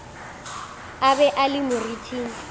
a be a le moriting